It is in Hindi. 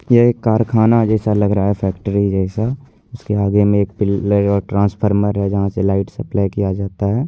ये एक कारखाना जैसा लग रहा है फैक्ट्री जैसा उसके आगे में आ ट्रंसपार्मर है जहाँ से लाइट सप्लाई किया जाता है।